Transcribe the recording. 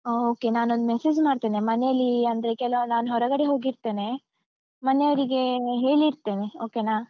Okay . ನಾನೊಂದ್ message ಮಾಡ್ತೇನೆ. ಮನೇಲ್ಲಿ ಅಂದ್ರೆ, ಕೆಲವೊಮ್ಮೆ ನಾನ್ ಹೊರಗಡೆ ಹೋಗಿರ್ತೆನೆ. ಮನೆಯವ್ರಿಗೆ ಹೇಳಿರ್ತೆನೆ. okay ನಾ?